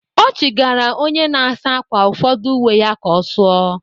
Ọ chigara onye na-asa ákwà ụfọdụ uwe ya ka ọ sụọ.